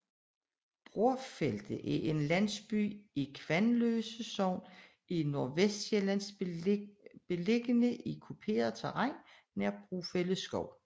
Brorfelde er en lille landsby i Kvanløse Sogn i Nordvestsjælland beliggende i kuperet terræn nær Brorfelde Skov